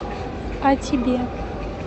а тебе